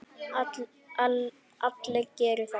Allir geri það.